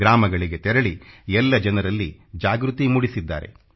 ಗ್ರಾಮಗಳಿಗೆ ತೆರಳಿ ಎಲ್ಲ ಜನರಲ್ಲಿ ಜಾಗೃತಿ ಮೂಡಿಸಿದ್ದಾರೆ